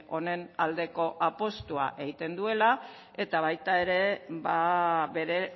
honen aldeko apustua egiten duela eta baita ere bere